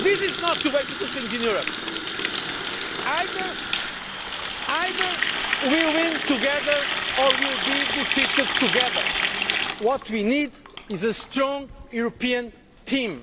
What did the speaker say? This is not the way to do things in Europe either we win together or we will be defeated together. What we need is a strong European